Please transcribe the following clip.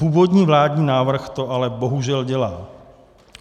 Původní vládní návrh to ale bohužel dělal.